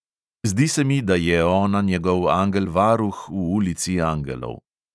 Zdi se mi, da je ona njegov angel varuh v ulici angelov.